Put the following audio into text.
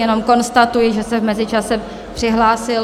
Jenom konstatuji, že se v mezičase přihlásil...